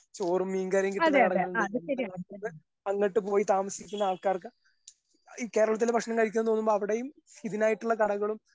ചോറും മീൻ കറിയും കിട്ടുന്ന കടകളുണ്ട് എന്റെ നാട്ടിന്ന് അങ്ങട്ട് പോയി താമസിക്കുന്ന ആൾക്കാർക്ക് കേരളത്തിന്ന് ഭക്ഷണം കഴിക്കാൻ തോന്നുമ്പൊ അവിടേയും ഇതിനായിട്ടുള്ള കടകളും.